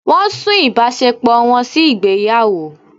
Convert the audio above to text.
Wọ́n sún ìbáṣepọ̀ wọn sí ìgbéyàwó.